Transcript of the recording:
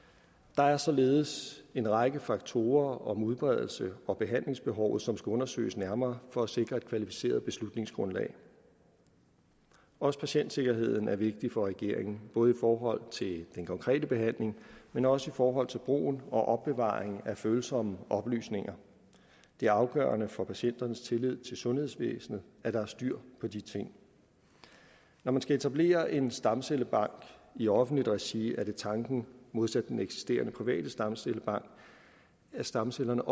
der er således en række faktorer om udbredelse og behandlingsbehovet som skal undersøges nærmere for at sikre et kvalificeret beslutningsgrundlag også patientsikkerheden er vigtig for regeringen det både i forhold til den konkrete behandling men også i forhold til brugen og opbevaringen af følsomme oplysninger det er afgørende for patienternes tillid til sundhedsvæsenet at der er styr på de ting når man skal etablere en stamcellebank i offentligt regi er det tanken modsat den eksisterende private stamcellebank at stamcellerne